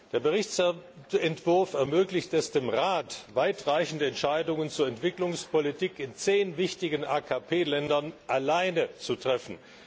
Der Bericht ermöglicht es dem Rat, weitreichende Entscheidungen zur Entwicklungspolitik in zehn wichtigen AKP Ländern alleine zu treffen.